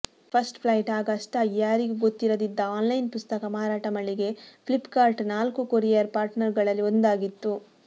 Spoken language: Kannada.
ಫಸ್ಟ್ ಫ್ಲೈಟ್ ಆಗ ಅಷ್ಟಾಗಿ ಯಾರಿಗೂ ಗೊತ್ತಿರದಿದ್ದ ಆನ್ಲೈನ್ ಪುಸ್ತಕ ಮಾರಾಟ ಮಳಿಗೆ ಫ್ಲಿಪ್ಕಾರ್ಟ್ನ ನಾಲ್ಕು ಕೊರಿಯರ್ ಪಾರ್ಟ್ನರ್ಗಳಲ್ಲಿ ಒಂದಾಗಿತ್ತು